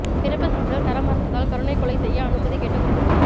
பிறப்பு சான்றிதழ் தர மறுத்ததால் கருணைக்கொலை செய்ய அனுமதி கேட்ட குடும்பத்தினர்